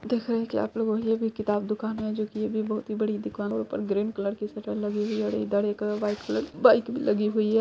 देख रहे की आप लोगों ये भी किताब हे जो की ये भी बहोत ही बड़ी दुकान लग रही हे और ऊपर ग्रीन कलर की शटर लगी हुई हे और इधर एक व्हाइट कलर की बाइक भी लगी हुई हे।